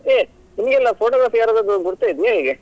ಏ ನಿಮ್ಗೆಲ್ಲಾ photography ಯಾರಾದ್ರೂ ಗುರ್ತ ಇದ್ಯಾ ಹೇಗೆ?